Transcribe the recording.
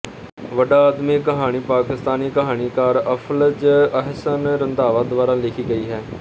ਵੱਡਾ ਆਦਮੀ ਕਹਾਣੀ ਪਾਕਿਸਤਾਨੀ ਕਹਾਣੀਕਾਰ ਅਫ਼ਜ਼ਲ ਅਹਿਸਨ ਰੰਧਾਵਾ ਦੁਆਰਾ ਲਿਖੀ ਗਈ ਹੈ